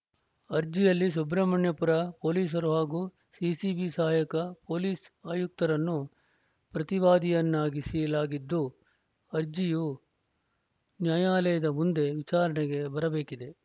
ಅರ್ಜಿಯಲ್ಲಿ ಸುಬ್ರಮಣ್ಯಪುರ ಪೊಲೀಸರು ಹಾಗೂ ಸಿಸಿಬಿ ಸಹಾಯಕ ಪೊಲೀಸ್‌ ಆಯುಕ್ತರನ್ನು ಪ್ರತಿವಾದಿಯನ್ನಾಗಿಸಲಾಗಿದ್ದು ಅರ್ಜಿಯು ನ್ಯಾಯಾಲಯದ ಮುಂದೆ ವಿಚಾರಣೆಗೆ ಬರಬೇಕಿದೆ